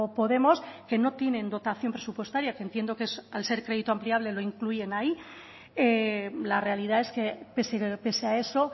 podemos que no tienen dotación presupuestaria que entiendo que al ser crédito ampliable lo incluyen ahí la realidad es que pese a eso